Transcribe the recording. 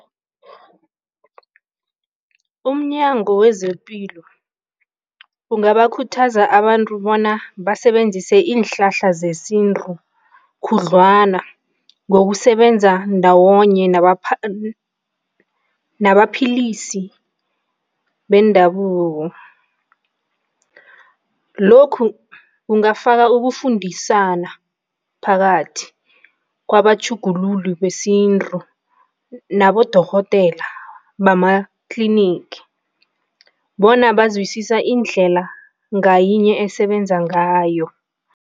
UmNyango wezePilo ungabakhuthaza abantu bona basebenzise iinhlahla zesintu khudlwana ngokusebenza ndawonye nabaphilisi bendabuko. Lokhu kungafaka ukufundisana phakathi kwabatjhugululi besintu nabodokotela bama-clinic bona bazwisisa indlela ngayinye esebenza ngayo.